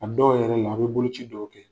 A dɔw yɛrɛ la, a bɛ boloci dɔw kɛ.